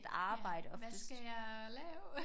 Ja hvad skal jeg lave?